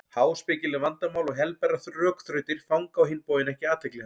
Háspekileg vandamál og helberar rökþrautir fanga á hinn bóginn ekki athygli hans.